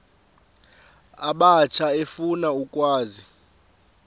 abatsha efuna ukwazi